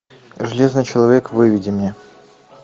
железный человек выведи мне